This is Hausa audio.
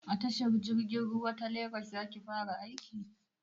A tashar jirgin ruwa ta legas za ki fara aiki?